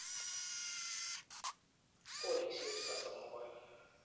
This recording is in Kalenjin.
Kolisiek 32.